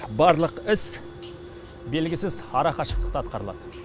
барлық іс белгісіз ара қашықтықта атқарылады